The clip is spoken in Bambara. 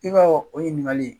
I ka o ɲininkali